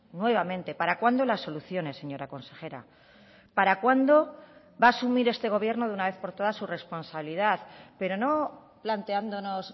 nuevamente para cuándo las soluciones señora consejera para cuándo va a asumir este gobierno de una vez por toda su responsabilidad pero no planteándonos